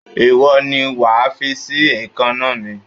Ìwọ ni wàá fíìsì èékàná mi!